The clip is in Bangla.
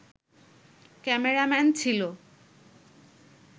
ক্যামেরাম্যান ছিল